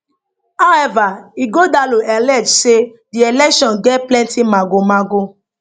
however ighodalo allege say di election get plenty magomago